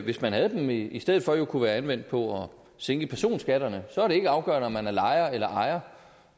hvis man havde dem jo i stedet for kunne have været anvendt på at sænke personskatterne så er det ikke afgørende om man er lejer eller ejer